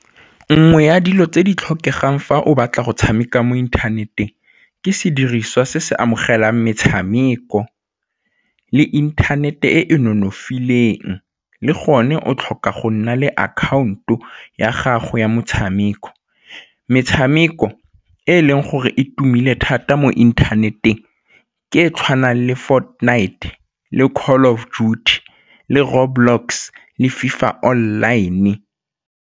Nngwe ya dilo tse di tlhokegang fa o batla go tshameka mo inthaneteng ke sediriswa se se amogelang metshameko le inthanete e e nonofileng le gone o tlhoka go nna le account-o ya gago ya motshameko. Metshameko e e leng gore e tumile thata mo inthaneteng ke e e tshwanang le Fortnite le Call of Duty le Road Blocks le FIFA online.